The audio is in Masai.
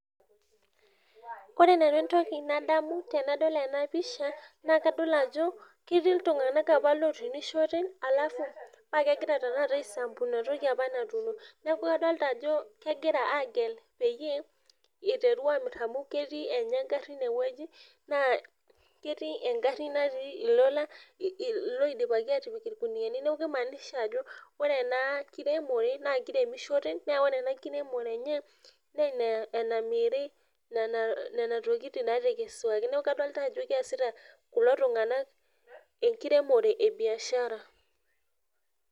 Kore nanu entoki nadamu tenadol ena pisha naa kadol ajo ketii iltung'anak apa lotunishote alafu paa kegira tenakata aisampu inatoki apa natuuno niaku adolta ajo kegira aagel peyie iteru amirr amu ketii enye engarri inewueji naa ketii engarri natii ilola iloidipaki atipik irkuniani neku kimaanisha ajo ore ena kiremore naa kiremishore naa ore ena kiremore enye neena enamiri nana tokitin natekesuaki neeku kadolta ajo keesita kulo tung'anak enkiremore e biashara.